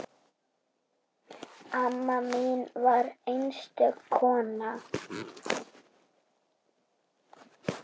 Amma mín var einstök kona.